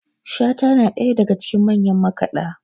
shata yana ɗaya daga cikin manyan makaɗa